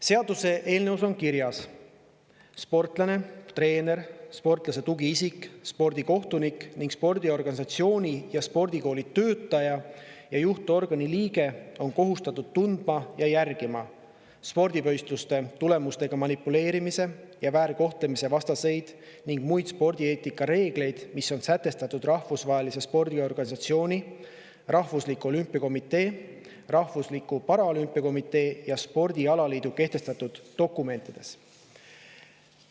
Seaduseelnõus on kirjas: "Sportlane, treener, sportlase tugiisik, spordikohtunik ning spordiorganisatsiooni ja spordikooli töötaja ja juhtorgani liige on kohustatud tundma ja järgima: spordivõistluste tulemustega manipuleerimise ja väärkohtlemise vastaseid ning muid spordieetika reegleid, mis on sätestatud rahvusvahelise spordiorganisatsiooni, rahvusliku olümpiakomitee, rahvusliku paralümpiakomitee ja spordialaliidu kehtestatud dokumentides.